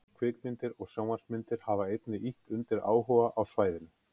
Kvikmyndir og sjónvarpsmyndir hafa einnig ýtt undir áhuga á svæðinu.